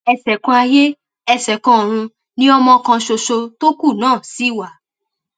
ẹṣẹkanayé ẹsẹkanọrun ni ọmọ kan ṣoṣo tó kú náà sì wà